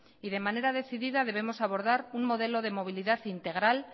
y de manera decidida debemos abordar un modelo de movilidad integral